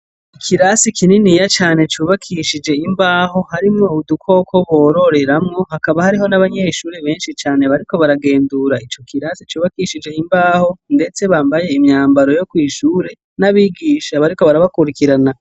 Ikirasi kininiya cane cubakishije imbaho harimwo udukoko bororeramwo hakaba hariho n'abanyeshure benshi cane bariko baragendura ico kirase cubakishije imbaho, ndetse bambaye imyamabro yo kwishure n'abigisha bariko barabakurikirana.